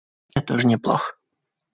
это уже неплохо